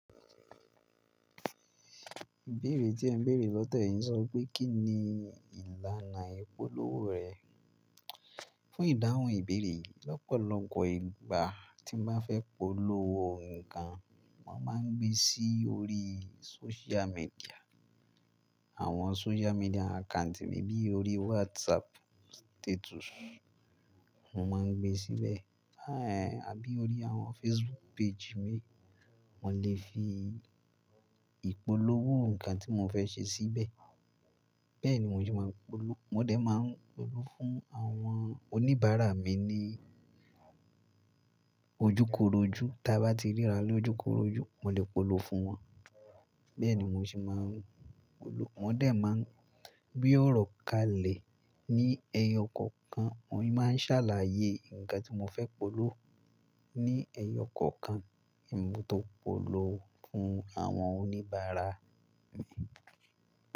Ìbéèrè tí ẹ ń béèrè lọ́te yìí sọ pé kín ni ìlànà ìpolówó rẹ? Fún ìdáhùn ìbéèrè yìí, lọ́pọ̀lọpọ̀ ìgbà tí mo bá fẹ́ polówó nǹkan, mo máa ń gbé sí orí social media. Àwọn social media account temi bí i orí WhatsApp status, mo máa ń gbé síbẹ̀. Aí è, àbí orí àwọn Facebook page mi, mo lè fi ìpolówó nǹkan tí mo fẹ́ ṣe síbẹ̀. Bẹ́ẹ̀ ni mo sì máa ń polówó. Mo dẹ̀ máa ń polówó fún àwọn oníbàárà mi ní ojúkorojú. Tí a bá ti ríra lójukoroju, mo lè polówó fún wọn. Bẹ́ẹ̀ ni mo sì máa ń polówó. Mo dẹ̀ máa ń gbe ọ̀rọ̀ kalẹ̀ ní ẹyọ kọ̀ọ̀kan. Mo máa ń ṣàlàyé nǹkan tí mo fẹ́ polówó ní ẹyọ kọ̀ọ̀kan, èmi tó polówó fún àwọn oníbàárà mi.